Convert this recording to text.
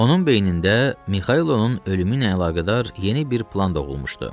Onun beynində Mixailin ölümü ilə əlaqədar yeni bir plan doğulmuşdu.